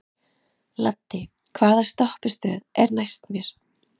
Laddi, hvaða stoppistöð er næst mér?